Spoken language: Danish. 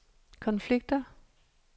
konflikter